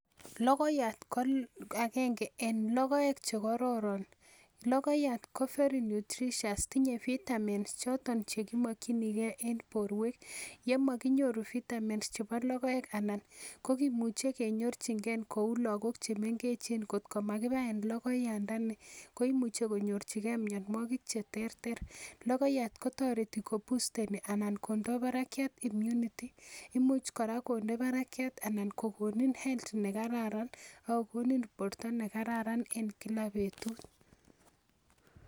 Logoiyat ko agenge en logoek chekororon logoiyat ko very nutritious tinye vitamins choton chekimokyingee en borwek yemokinyoru vitamins chebo logoek ko kimuche kenyorchigee kou lagok chemengechen kot ko makibaen logoiyandani koimuche konyorchigee mionwogik cheterter. Logoiyat kotoreti ko busteni anan kondoo barakiat immunity imuch kora konde barakiat anan ko konin health nekararan ako konin borto nekararan en kila betut